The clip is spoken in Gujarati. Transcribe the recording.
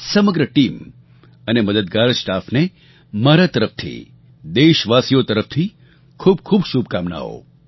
સમગ્ર ટીમ અને મદદગાર સ્ટાફને મારા તરફથી દેશવાસીઓ તરફથી ખૂબખૂબ શુભકામનાઓ